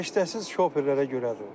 Səriştəsiz şoferlərə görədir o.